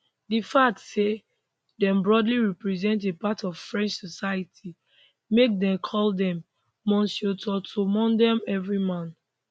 di fact say dem broadly represent a part of french society make dem call demmonsieurtoutlemondemr everyman